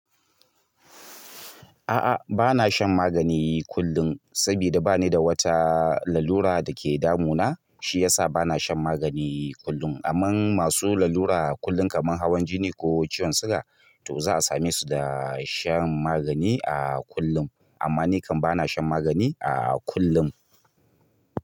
A'a, ba na shan magani kullum, saboda ba ni da wata lalura da ke damuna, shi yasa ba na shan magani kullum. Amman masu lalura kullum kamar hawan jini ko ciwon suga to za a same su da shan magani a kullum. Amma ni kam ba na shan magani a kullum.